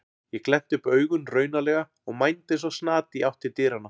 Ég glennti upp augun raunalega og mændi eins og snati í átt til dyranna.